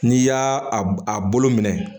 N'i y'a a bolo minɛ